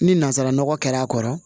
Ni nanzaranɔgɔ kɛra a kɔrɔ